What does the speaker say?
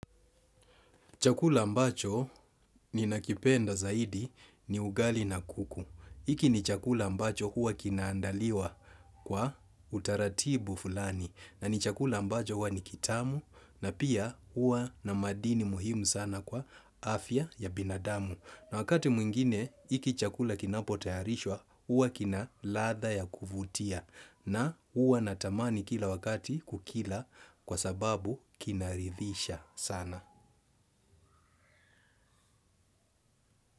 Chakula ambacho ninakipenda zaidi ni ugali na kuku. Hiki ni chakula ambacho huwa kinaandaliwa kwa utaratibu fulani. Na ni chakula ambacho huwa ni kitamu na pia huwa na madini muhimu sana kwa afya ya binadamu. Na wakati mwingine, hiki chakula kinapo tayarishwa, huwa kina ladha ya kuvutia. Na huwa natamani kila wakati kukila kwa sababu kinarithisha sana.